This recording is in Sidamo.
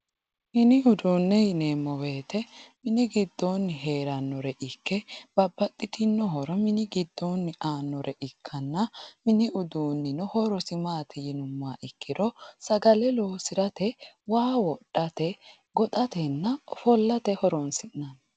mini uduunne yineemmo woyiite mini giddoonni heerannore ikke babbaxxitinno horo mini giddoonni annore ikkanno mini uduunnino horosi maati yinummoro sagale loosirate waa wodhate ofollatenna goxate horonsi'nanni